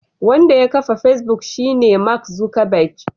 Wanda ya kafa Facebook shine Mark Zuckerberg.